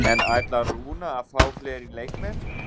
En ætlar Rúnar að fá fleiri leikmenn?